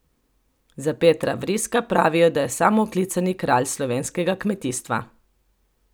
Za Petra Vriska pravijo, da je samooklicani kralj slovenskega kmetijstva.